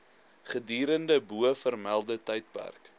gedurende bovermelde tydperk